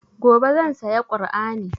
Gobe zan saya kur'ani